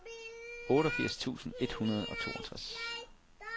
otteogfirs tusind et hundrede og toogtres